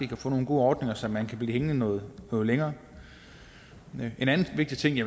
kan få nogle gode ordninger så man kan blive hængende noget længere en anden vigtig